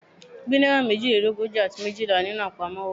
Gba naira mejilelogoji ati mejila ninu apamọwọ mi